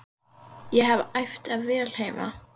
Ég hef æft vel heima.